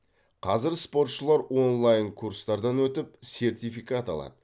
қазір спортшылар онлайн курстардан өтіп сертификат алады